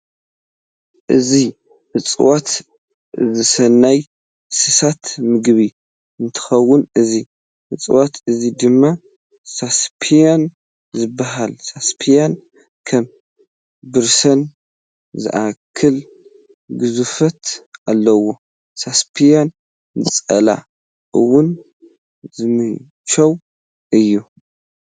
እዚ እፅዋት እዚናይ እስሳት ምግቢ እንትከው እዚ እፅዋት እዚ ድማ ሳስፓንያ ዝበሃል። ሳስፓንያ ከም ብርሰን፣ ዝኣክል ገዝፈት ኣለዎ። ሳስፓንያ ንፅላል እውን ዝምችው እዩ።